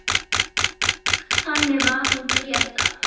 Þannig var hún Gréta.